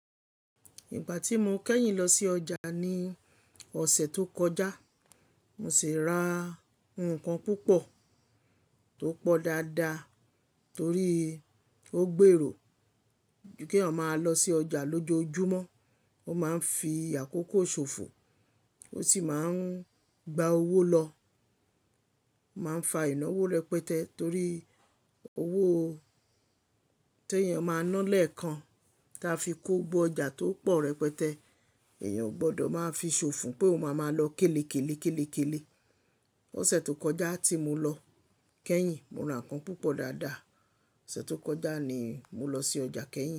Ìgbà tí mo kẹ́yìn lọ sí ọjà ní ọ̀sẹ̀ tó kọjá, mo sì ra nnkan púpọ̀ tó pọ̀ dáadáa torí ó gbèrò ju keyan máa lọ sí ọjà lójoojúmọ́. Ó máa ń fi àkókò ṣòfò, ó sì máa ń gba owó lọ, máa ń fa ìnáwó rẹpẹtẹ torí owó tí èèyàn máa ń ná lẹ́ẹ̀kan tí a fi kó gbó ọjà tó pọ̀ rẹpẹtẹ. Èèyàn ò gbọdọ̀ máa fi ṣòfò pé ó máa máa lọ kélekèlé kélekèlé. Ọ̀sẹ̀ tó kọjá tí mo lọ kẹ́yìn, mo ra ǹkan púpọ̀ dáadáa. Ọ̀sẹ̀ tó kọjá ni mo lọ sí ọjà kẹ́yìn.